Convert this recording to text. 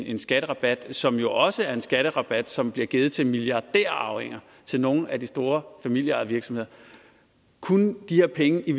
en skatterabat som jo også er en skatterabat som bliver givet til milliardærarvinger til nogle af de store familieejede virksomheder kunne de her penge i